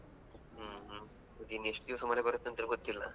ಹ್ಮ್ ಹ್ಮ್ ಇನ್ನು ಎಷ್ಟು ದಿವಸ ಮಳೆ ಬರುತ್ತಂತೇಳಿ ಗೊತ್ತಿಲ್ಲಾ.